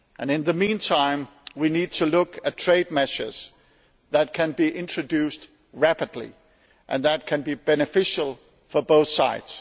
In the mean time, we need to look at trade measures that can be introduced rapidly and that can be beneficial for both sides.